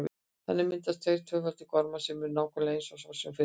Þannig myndast tveir tvöfaldir gormar sem eru nákvæmlega eins og sá sem fyrir var.